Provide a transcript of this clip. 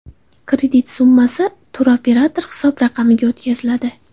Kredit summasi turoperator hisob raqamiga o‘tkaziladi.